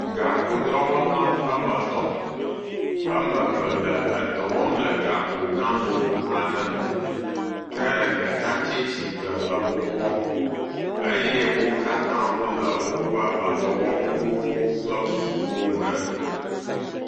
Gakpodɔwɔlawo emet, emeve le edɔ wɔm le gakpo gã nogo aɖe nu. Ke ɖeka tsitre le wokpɔm eye wokatã wole woƒe edɔwɔwu kple kukuwo me.